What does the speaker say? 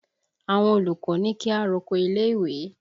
Àwọn olùkọ́ ní kí a roko ilé ìwé